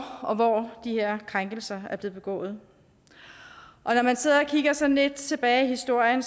og hvornår de her krænkelser er blevet begået og når man sidder og kigger sådan lidt tilbage i historien